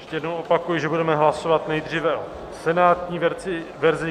Ještě jednou opakuji, že budeme hlasovat nejdříve o senátní verzi.